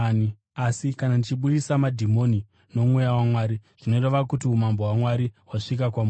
Asi kana ndichibudisa madhimoni noMweya waMwari zvinoreva kuti umambo hwaMwari hwasvika kwamuri.